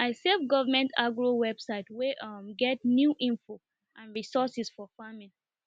i save government agro website wey um get new info and resources for farming